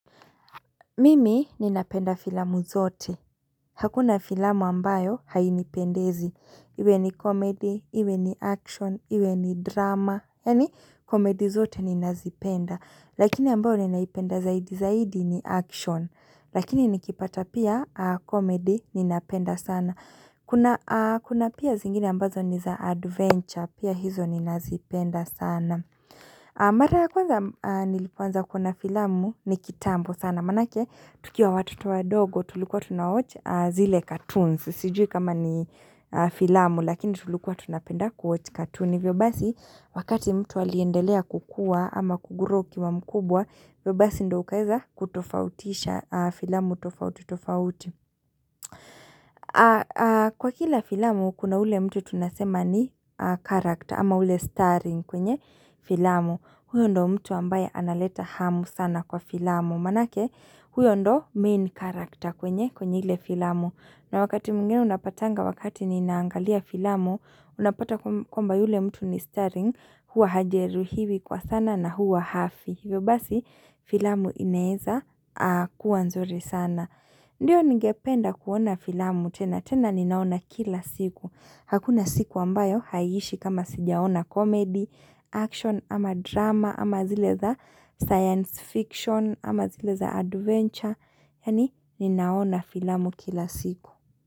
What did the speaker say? Mimi ninapenda filamu zote, hakuna filamu ambayo hainipendezi, iwe ni komedi, iwe ni action, iwe ni drama, yani komedi zote ninazipenda Lakini ambayo ninaipenda zaidi zaidi ni action, lakini nikipata pia komedi ninapenda sana Kuna pia zingine ambazo ni za adventure, pia hizo ninazipenda sana Mara kwanza nilipoanza kuona filamu ni kitambo sana Maana yake tukiwa watoto wadogo tulikuwa tunawochi zile cartoons Sijui kama ni filamu lakini tulikuwa tunapenda kuwatch cartoon hivyo basi wakati mtu aliendelea kukua ama kugrow ukiwa mkubwa hivyo basi ndiyo ukaweza kutofautisha filamu tofauti tofauti Kwa kila filamu kuna ule mtu tunasema ni character ama ule starring kwenye filamu huyo ndo mtu ambaye analeta hamu sana kwa filamu Maanayake huyo ndiyo main character kwenye kwenye ile filamu na wakati mwingine unapatanga wakati ninaangalia filamu Unapata kwamba yule mtu ni starring Huwa hajeruhiwi kwa sana na huwa hafi hivyo basi filamu inaweza kuwa nzuri sana Ndiyo ningependa kuona filamu tena tena ninaona kila siku Hakuna siku ambayo haiishi kama sijaona komedi action ama drama ama zile za science fiction ama zile za adventure Yani ninaona filamu kila siku.